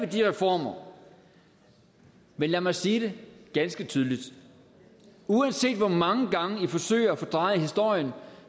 de reformer men lad mig sige det ganske tydeligt uanset hvor mange gange i forsøger at fordreje historien